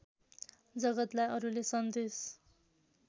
जगतलाई अरूले सन्देश